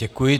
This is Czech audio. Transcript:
Děkuji.